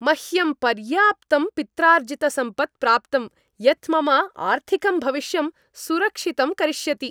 मह्यं पर्याप्तं पित्रार्जितसम्पत् प्राप्तम् यत् मम आर्थिकं भविष्यं सुरक्षितं करिष्यति।